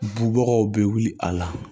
Bubagaw be wuli a la